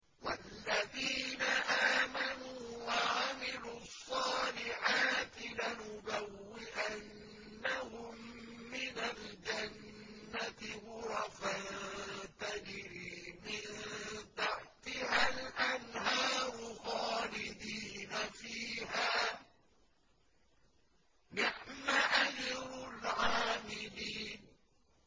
وَالَّذِينَ آمَنُوا وَعَمِلُوا الصَّالِحَاتِ لَنُبَوِّئَنَّهُم مِّنَ الْجَنَّةِ غُرَفًا تَجْرِي مِن تَحْتِهَا الْأَنْهَارُ خَالِدِينَ فِيهَا ۚ نِعْمَ أَجْرُ الْعَامِلِينَ